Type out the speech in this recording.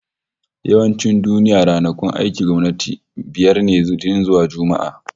Yawancin duniya, ranakun aikin gwamnati biyar ne, Litinin zuwa Juma'a